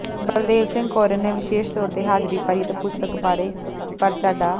ਬਲਦੇਵ ਸਿੰਘ ਕੋਰੇ ਨੇ ਵਿਸੇਸ਼ ਤੌਰ ਤੇ ਹਾਜਰੀ ਭਰੀ ਅਤੇ ਪੁਸਤਕ ਬਾਰੇ ਪਰਚਾ ਡਾ